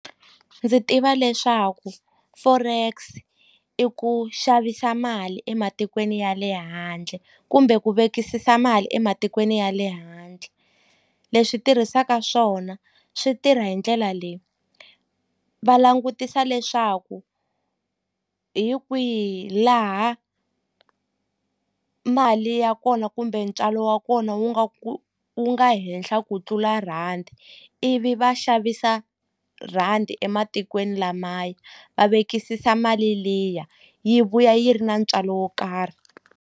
Ndzi tiva leswaku forex i ku xavisa mali ematikweni ya le handle kumbe ku vekisisa mali ematikweni ya le handle leswi tirhisaka swona swi tirha hi ndlela leyi va langutisa leswaku hi kwihi laha mali ya kona kumbe ntswalo wa kona wu nga ku wu nga henhla ku tlula rhandi ivi va xavisa rhandi ematikweni lamaya va vekisisa mali liya yi vuya yi ri na ntswalo wo karhi.